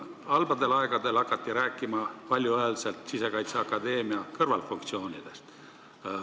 Halbadel aegadel hakati valjuhäälselt rääkima Sisekaitseakadeemia kõrvalfunktsioonidest.